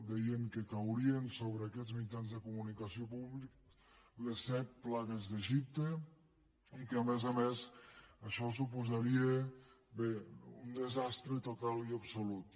deien que caurien sobre aquests mitjans de comunicació públics les set plagues d’egipte i que a més a més això suposaria bé un desastre total i absolut